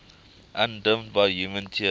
undimmed by human tears